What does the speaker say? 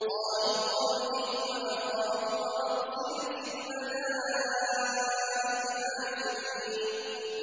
قَالُوا أَرْجِهْ وَأَخَاهُ وَأَرْسِلْ فِي الْمَدَائِنِ حَاشِرِينَ